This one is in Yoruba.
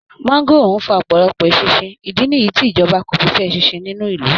Máńgóòrò ń fa ọ̀pọ̀lọpọ̀ eṣinṣin, ìdí nìyí tí ìjọba kò fi fẹ́ eṣinṣin nínú ìlú